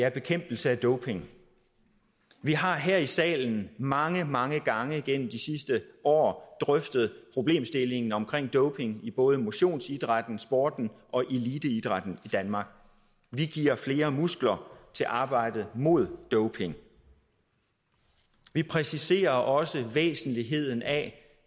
er bekæmpelse af doping vi har her i salen mange mange gange igennem de sidste år drøftet problemstillingen omkring doping i både motionsidrætten sporten og eliteidrætten i danmark vi giver flere muskler til arbejdet mod doping vi præciserer også væsentligheden af